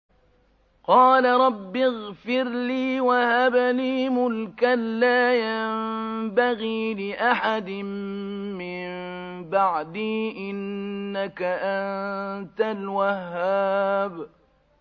قَالَ رَبِّ اغْفِرْ لِي وَهَبْ لِي مُلْكًا لَّا يَنبَغِي لِأَحَدٍ مِّن بَعْدِي ۖ إِنَّكَ أَنتَ الْوَهَّابُ